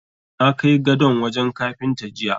Na kai gadon wajen Kafinta jiya.